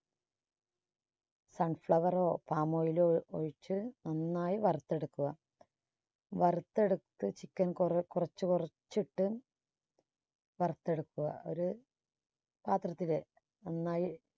sun flower ാ palm oil ിലോ ഒഴിച്ച് നന്നായി വറുത്തെടുക്കുക. വറുത്തെടുത്ത ചിക്കൻ കൊറേ കുറച്ച് കുറച്ചിട്ട് വറുത്തെടുക്കുക ഒരു പാത്രത്തില് നന്നായി